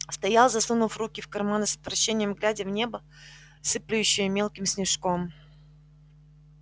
стоял засунув руки в карманы с отвращением глядя в небо сыплющее мелким снежком